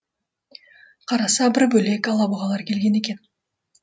қараса бір бөлек алабұғалар келген екен